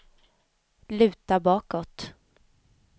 luta bakåt